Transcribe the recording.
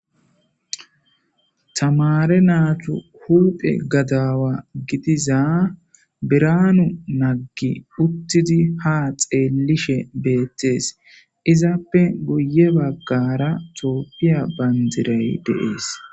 Tamare naatu hulphe gadaawa gidiza biraanu naggi uttidi ha xeellishe beettees izappe guye baggara tooppiya bandiray deees.